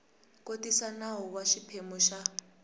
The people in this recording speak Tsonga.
kotisa nawu wa xiphemu xa